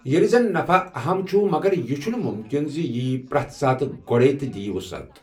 ییلہِ زن نفع اہم چھٗ ، مگر یہِ چھٗنہٕ مٗمكِن زِ یہِ یی پر٘یتھ ساتہٕ گوڈے٘ تہٕ دِیہ وٗصعت ۔